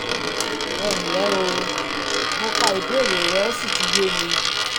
ẹ ǹlẹ́ o! mo ka ìbéèrè rẹ ó sì ti yé mi